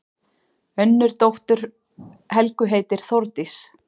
Önnur dóttir Helgu heitir Þórdís.